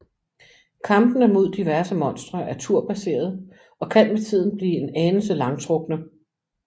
Kampene mod diverse monstre er turbaseret og kan med tiden blive en anelse langtrukkende